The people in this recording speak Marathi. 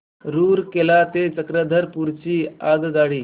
रूरकेला ते चक्रधरपुर ची आगगाडी